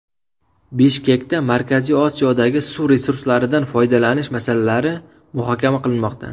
Bishkekda Markaziy Osiyodagi suv resurslaridan foydalanish masalalari muhokama qilinmoqda.